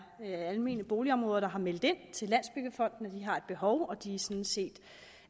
almene boligområder der har meldt ind til landsbyggefonden at de har behov og de er sådan set